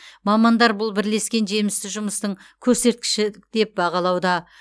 мамандар бұл бірлескен жемісті жұмыстың көрсеткіші деп бағалауда